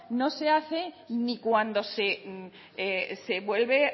no se hace ni cuando se vuelve